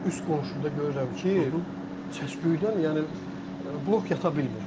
Üst qonşuda görürəm ki, səsküydən yəni blok yata bilmir.